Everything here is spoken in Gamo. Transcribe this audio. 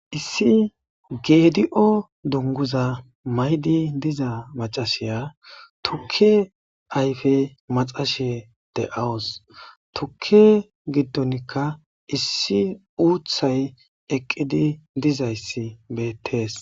Issi gedio duniguza maidi diza mcasy tuke ayipe maxashe de'awus tuke gidonika issi uthay eqidi dizayis betes